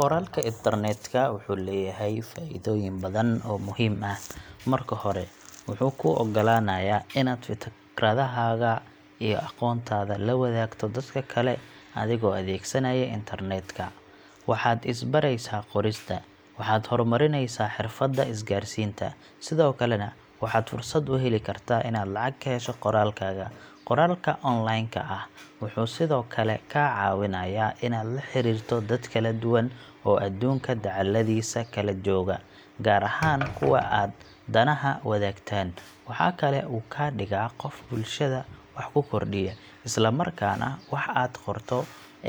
Qoraalka internetka wuxuu leeyahay faa’iidooyin badan oo muhiim ah. Marka hore, wuxuu kuu oggolaanayaa inaad fikradahaaga iyo aqoontaada la wadaagto dadka kale adigoo adeegsanaya internetka. Waxaad is baraysaa qorista, waxaad horumarinaysaa xirfadda isgaarsiinta, sidoo kalena waxaad fursad u heli kartaa inaad lacag ka hesho qoraalkaaga. Qoraalka online ka ah wuxuu sidoo kale kaa caawinayaa inaad la xiriirto dad kala duwan oo aduunka dacalladiisa kala jooga, gaar ahaan kuwa aad danaha wadaagtaan. Waxaa kale oo uu kaa dhigaa qof bulshada wax ku kordhiya, isla markaana waxa aad qorto